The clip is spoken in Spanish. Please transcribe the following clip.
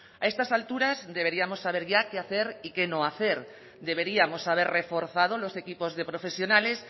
a estas alturas deberíamos saber ya qué hacer y qué no hacer deberíamos haber reforzado los equipos de profesionales